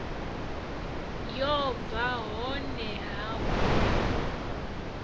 yo bva honeha hu na